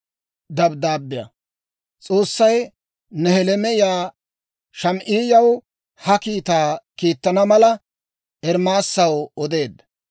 S'oossay Nehelaamiyaa Shamaa'iyaw ha kiitaa kiittana mala, Ermaasaw odeedda.